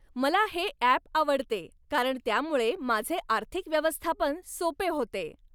मला हे ॲप आवडते कारण त्यामुळे माझे आर्थिक व्यवस्थापन सोपे होते.